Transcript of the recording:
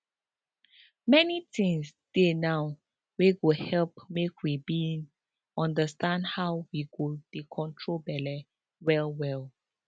many things dey now wey go help make we bin understand how we go dey control belle well well